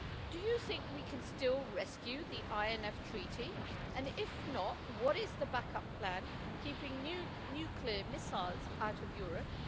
Do you think we can still rescue the INF Treaty and, if not, what is the back-up plan for keeping nuclear missiles out of Europe?